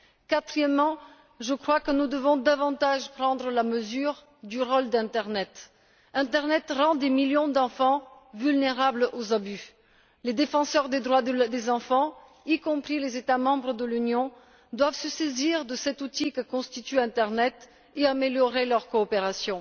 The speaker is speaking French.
Quatrièmement, je crois que nous devons davantage prendre la mesure du rôle de l'internet. L'internet rend des millions d'enfants vulnérables aux abus. Les défenseurs des droits des enfants, y compris les États membres de l'Union, doivent se saisir de cet outil que constitue l'internet et améliorer leur coopération.